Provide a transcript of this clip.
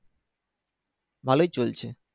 ভালোই চলছে।